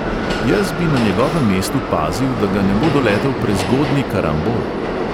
Jaz bi na njegovem mestu pazil, da ga ne bo doletel prezgodnji karambol ...